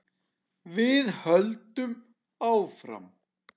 Við höldum áfram.